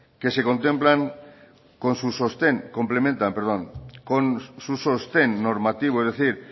que se complementan con sus sostén normativo es decir